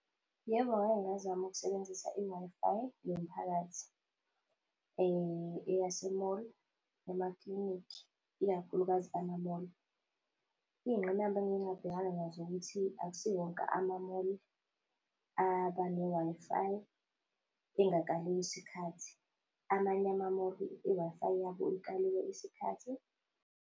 Yebo, ngake ngazama ukusebenzisa i-Wi-Fi yomphakathi eyase-mall, emaklinikhi, ikakhulukazi ama-mall. Iy'ngqinamba engike ngabhekana nazo ukuthi akusi wonke ama-mall aba ne-Wi-Fi engakaliwe isikhathi, amanye ama-mall i-Wi-Fi yabo ikaliwe isikhathi.